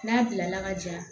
N'a bilala ka ja